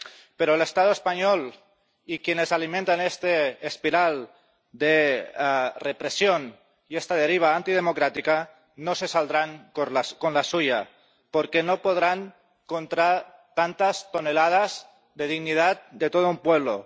pero el Estado español y quienes alimentan esta espiral de represión y esta deriva antidemocrática no se saldrán con la suya, porque no podrán contra tantas toneladas de dignidad de todo un pueblo